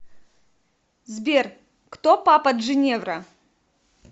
сбер кто папа джиневра